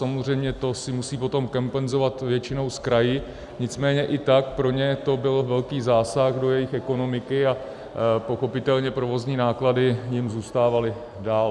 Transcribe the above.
Samozřejmě to si musí potom kompenzovat většinou s kraji, nicméně i tak pro ně to byl velký zásah do jejich ekonomiky a pochopitelně provozní náklady jim zůstávaly dál.